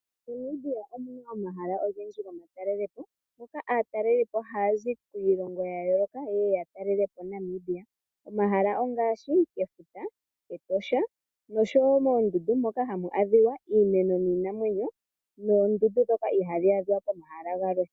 MoNamibia omu na omahala ogendji gomatalelepo moka aatalelipo haya zi kiilongo yayooloka ye ye yatalelepo Namibia, omahala ongaashi efuta, Etosha nosho wo moondundu moka hamu adhiwa iimeno niinamwenyo noondundu dhoka ihadhi adhwa pomahala galwe.